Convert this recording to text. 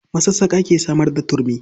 Masassaƙa ke samar da turmi.